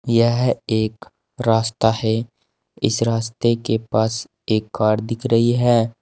यह एक रास्ता है इस रास्ते के पास एक कार दिख रही है।